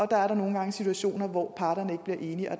der er da nogle gange situationer hvor parterne ikke bliver enige og